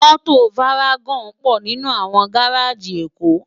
Mòtó várágòn pò ninú áwòn gáráji Ekó